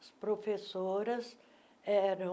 Os professoras eram